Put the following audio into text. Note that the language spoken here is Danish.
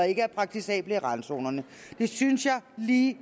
ikke er praktisable i randzonerne det synes jeg lige